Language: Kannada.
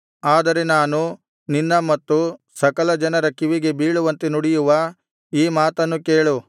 ಆದರೆ ನಾನು ನಿನ್ನ ಮತ್ತು ಸಕಲ ಜನರ ಕಿವಿಗೆ ಬೀಳುವಂತೆ ನುಡಿಯುವ ಈ ಮಾತನ್ನು ಕೇಳು